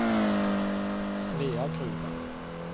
Sveagruva